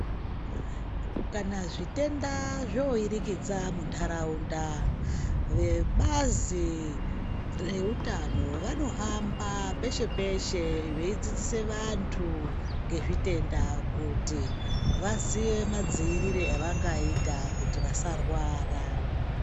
Kana zvitenda zvooirikidza muntaraunda vebazi reutano vanohamba peshe-peshe veidzidzise vantu ngezvitenda kuti vaziye madziirire avangaita kuti vasarwara.